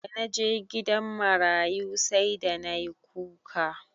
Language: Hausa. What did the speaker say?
Da naje gidan marayu sai da nayi kuka.